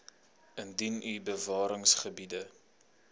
indien u bewaringsgebiede